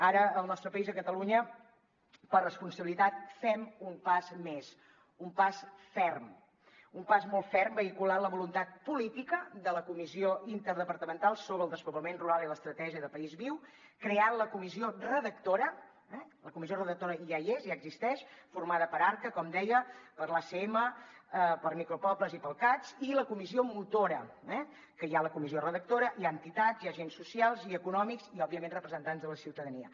ara al nostre país a catalunya per responsabilitat fem un pas més un pas ferm un pas molt ferm vehiculant la voluntat política de la comissió interdepartamental sobre despoblament rural i l’estratègia de país viu creant la comissió redactora la comissió redactora ja hi és ja existeix formada per arca com deia per l’acm per micropobles i pel cads i la comissió motora que hi ha la comissió redactora hi ha entitats hi ha agents socials i econòmics i òbviament representants de la ciutadania